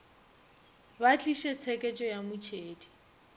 ba tliše tsheketšo ya motšhedi